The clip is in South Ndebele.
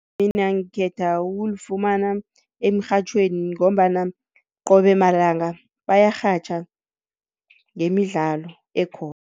Mina ngikhetha ukulifumana emirhatjhweni ngombana qobe malanga bayarhatjha ngemidlalo